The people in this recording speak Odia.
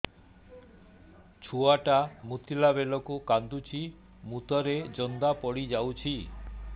ଛୁଆ ଟା ମୁତିଲା ବେଳକୁ କାନ୍ଦୁଚି ମୁତ ରେ ଜନ୍ଦା ପଡ଼ି ଯାଉଛି